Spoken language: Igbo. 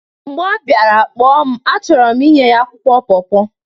mgbe ọ bịara, kpọọ m achọrọ m inye ya akwụkwọ paw paw